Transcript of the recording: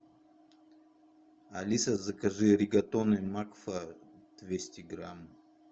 алиса закажи ригатоны макфа двести грамм